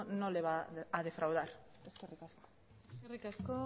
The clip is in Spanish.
no le va a defraudar eskerrik asko eskerrik asko